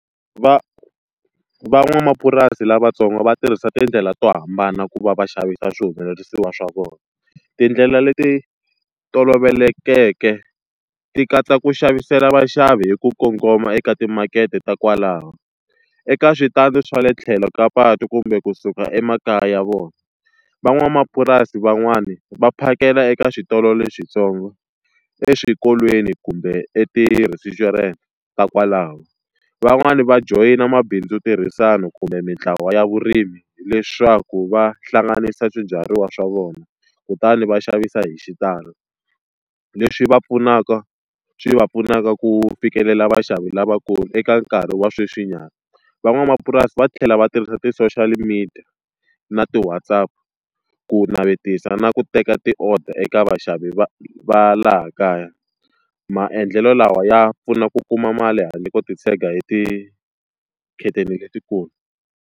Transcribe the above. Van'wamapurasi lavatsongo va tirhisa tindlela to hambana ku va va xavisa swihumelerisiwa swa vona. Tindlela leti tolovelekeke ti katsa ku xavisela vaxavi hi ku kongoma eka timakete ta kwalano, eka switandi swa le tlhelo ka patu kumbe kusuka emakaya ya vona. Van'wamapurasi van'wani va phakela eka switolo lexintsongo, eswikolweni, kumbe eti-restaurant ta kwalaho. Van'wani va joyina mabindzu yo tirhisana kumbe mintlawa ya vurimi, leswaku va hlanganisa swibyariwa swa vona, kutani va xavisa hi xitalo. Leswi va pfunaka swi va pfunaka ku fikelela vaxavi lavakulu eka nkarhi wa sweswinyana. Van'wamapurasi va tlhela va tirhisa ti-social media na ti-WhatsApp ku navetisa na ku teka ti-order eka vaxavi va va laha kaya. Maendlelo lawa ya pfuna ku kuma mali handle ko titshega hi letikulu.